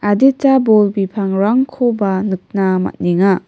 adita bol bipangrangkoba nikna man·enga.